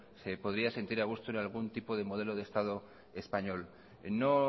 se podría sentir a gusto en algún tipo de modelo de estado español no